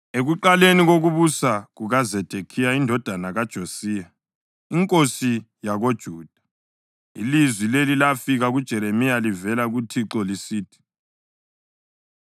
Ekuqaleni kokubusa kukaZedekhiya indodana kaJosiya inkosi yakoJuda, ilizwi leli lafika kuJeremiya livela kuThixo lisithi: